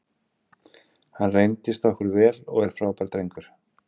Hann reyndist okkur vel og er frábær drengur.